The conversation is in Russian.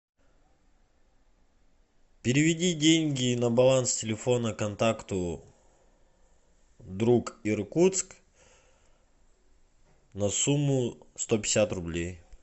переведи деньги на баланс телефона контакту друг иркутск на сумму сто пятьдесят рублей